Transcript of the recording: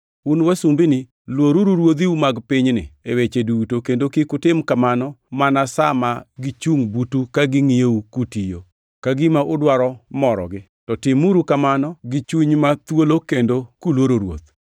Un, wasumbini, luoruru ruodhiu mag pinyni e weche duto kendo kik utim kamano mana sa ma gichungʼ butu ka gingʼiyou kutiyo, ka gima udwaro morogi, to timuru kamano gi chuny ma thuolo kendo kuluoro Ruoth.